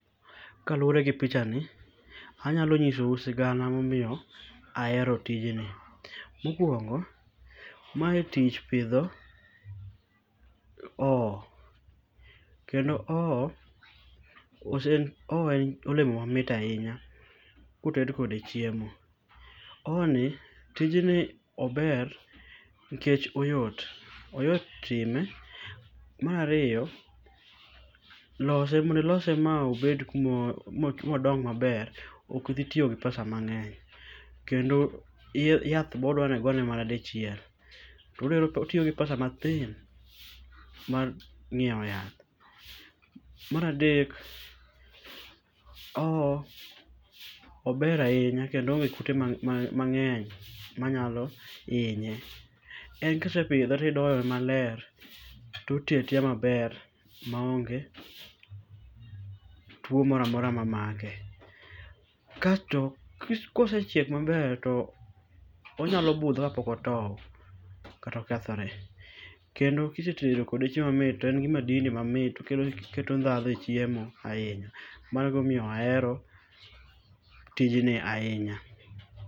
Kaluworegi pichani anyalo nyisou sigana momiyo ahero tijni. Mokuongo, mae tich pidho oo kendo oo ose oo en olemo mamit ainya koted kode chiemo. Ooni tijni ober nikech oyot .Oyot time. Mar ariyo, lose mondo ilose ma obed kuma modong maber ok dhi tiyogi pesa mang'eny. Kendo yath bodwani igone mana dichiel. Koro otiyogi pesa mathin mar ng'iewo yath. Mar adek oo ober ainya kendo oonge kute mang'eny manyalo inye. En kisepidhe tidoye maler to ti oti atiya maber ma onge tuo moro amora mamake. Kasto kosechiek maber to onyalo budho kapok otow kata okethore. Kendo kisetedo kode chiemo mamit to engi madili mamit oketo ndhadho echiemo ainya. Mano be ema omiyo aero tijni ainya.